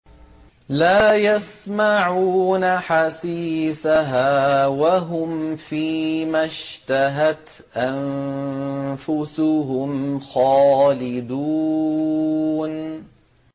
لَا يَسْمَعُونَ حَسِيسَهَا ۖ وَهُمْ فِي مَا اشْتَهَتْ أَنفُسُهُمْ خَالِدُونَ